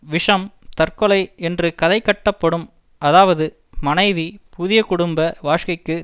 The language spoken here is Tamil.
விஷம் தற்கொலை என்று கதை கட்டப்படும் அதாவது மணைவி புதிய குடும்ப வாழ்க்கைக்கு